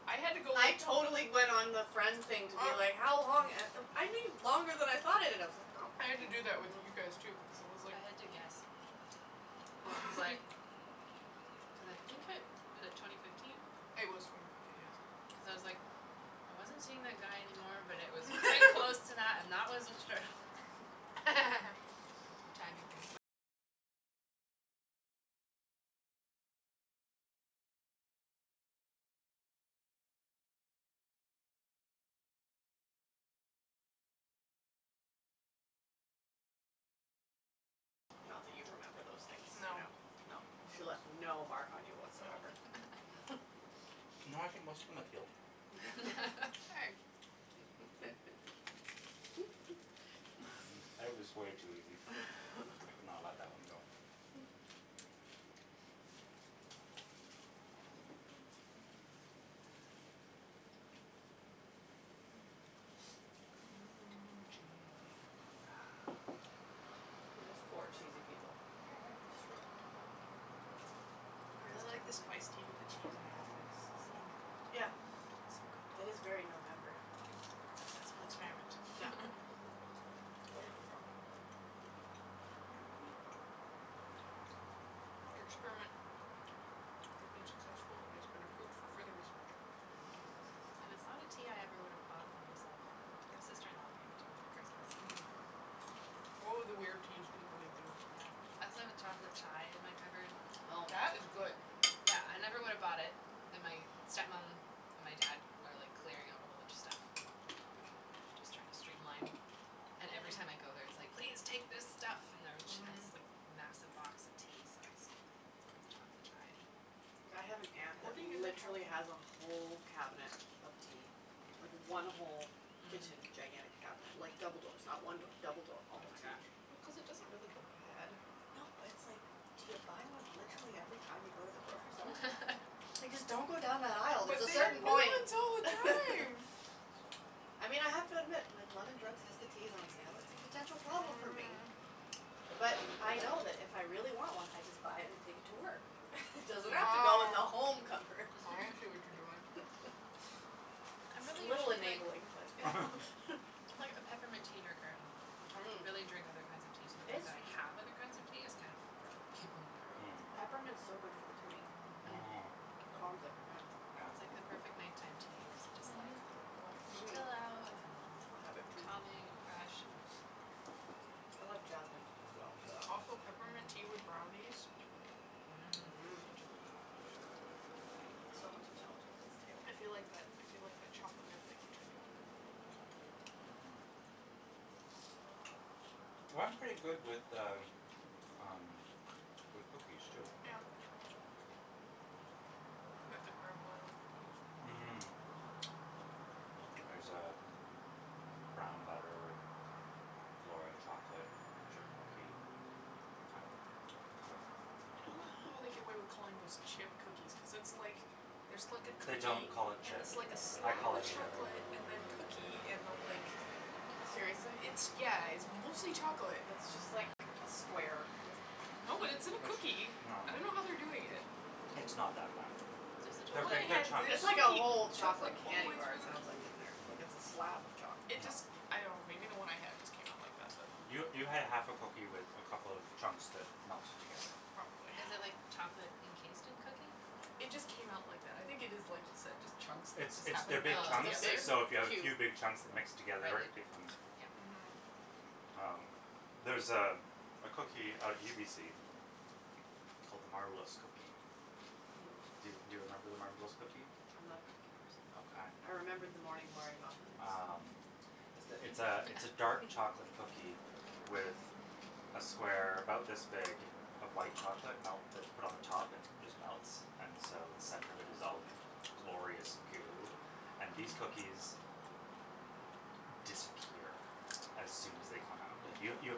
I had to go I totally went on the friend Well, thing to be like, how long, a- u- I knew longer than I thought I did. I was like Oh. I had to do that with you guys, too, because it was like I had to guess. It What? was like. Cuz I think I was it twenty fifteen? It was twenty fifteen, yes. Cuz I was like, I wasn't seeing that guy anymore, but it was quite close to that, and that was obstruct Not that you remember those things, no, no. She left no mark on you whatsoever. No. No, I think most of them have healed. Hey. It was way too easy, I could not let that one go. Mm, cheesy. We're just four cheesy people. Mhm. It's I really like the spiced tea with true. the cheese and the apples, it's Mm. like Yeah, so good. that is very November. Successful Yep. experiment. Your experiment has been successful and has been approved for further research. And it's not a tea I ever would have bought Mhm. for myself, my sister in law gave it to me for Christmas. Mhm. Oh, the weird teas people people give you. Yeah. I still have a chocolate chai in my cupboard. Oh. That was good. Yeah, I never would have bought it, and my step mom and my dad are like clearing out a whole bunch of stuff and just trying to stream line And every Mhm. time I go there it's like, "Please take this stuff!" And there she had this like Mhm. massive box of tea so I scored the chocolate chai. I have an aunt that Hoarding is a trouble. literally has a whole cabinet of tea. Like, one whole kitchen gigantic cabinet like, double doors not one door, double door. All of tea. Well, cuz it doesn't really go bad. No but it's like, do you buy one literally every time you go to the grocery store? Like just don't go down that aisle, there's But a they have certain new point! ones all the time! I mean I have to admit when London Drugs has the teas on sale, it's a potential Mhm problem for me. mhm. But I know that if I really want one I just buy it and take it to work. Doesn't have to go in the Oh. home cupboard. I see what you're doing. I'm It's a really little usually like enabling, but I'm like a peppermint tea drinker at home. I don't Mm. really drink other kinds of teas so I don't have other kinds of tea is kind of for other people when they're over. It's Peppermint's so good for the tummy. Mm. Mm. Mmm. Calms it, yeah. I It's like Yeah. the perfect night time tea, cuz it just like Mhm. Relaxes me. Chill out and have have it, it too. calming, and fresh and I love jasmine, as well, for that. Also peppermint tea with brownies. Mm. Mmm. Mmm. Such a good thing. So much intelligence at this table. I feel like that, I feel like that chocolate chocolate mint thing which I do. Mhm. Well it's pretty good with the, um, with cookies too. Yeah. Can get the Granville Island cookies. Mmm. There's uh, brown butter and flora chocolate chip cookie at Mmm. the I dunno how they get away with calling those chip cookies cuz it's like, there's like a They cookie don't call it and chip. it's like a I slab call of it chip. chocolate, and then cookie, and then like, Mmm. Seriously? it's, yeah, it's mostly chocolate. Mmm. No, but it's in a cookie. It's, no. I dunno how they do it yet. It's not that bad. The They're one I big, big had, when chunks. the It's like a cookie whole chocolate chocolate all the candy way bar through it the c- sounds like, in there. Like it's a slab of chocolate. It Mm. No. just, I dunno maybe the one I had just came out like that but You, you had a half a cookie with a couple of chunks that melted together. Probably. Is it like chocolate encased in cookie? It just came out like that, I think it is just like you said, just chunks that It's just it's happened they're to big melt chunks, together. so if you have a Oh. few big chunks that mix It's together becomes Mhm. like Um, there's uh, a a cookie out at UBC big called the Marbleous cookie. cube. Do, do you remember the Marbleous cookie? I'm not a cookie person. Okay. I remember the Morning Glory muffins. Um, it's th- it's a it's a dark chocolate cookie with a square about this big of white chocolate melt that's put on the top and it just melts and so the center of it is all glorious Mm. goo, and these cookies, disappear as soon as they come out. Yo- Mhm. You